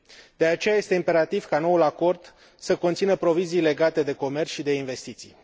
De aceea, este imperativ ca noul acord să conțină prevederi legate de comerț și de investiții.